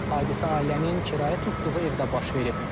Hadisə ailənin kirayə tutduğu evdə baş verib.